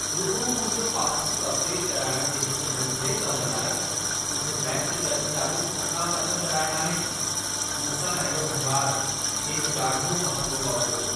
रुॻो मुंहिंजो पासबुक अपडेटु कराइण जे हिक नंढिड़े कम लाइ, मूंखे बैंकि कर्मचारियुनि चङा पंध कराया आहिनि। मूंसां अहिड़ो वहिंवारु, खेनि ॾाढो महांगो पवंदो।